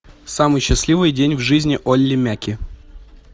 самый счастливый день в жизни олли мяки